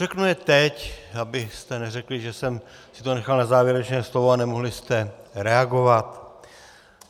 Řeknu je teď, abyste neřekli, že jsem si to nechal na závěrečné slovo a nemohli jste reagovat.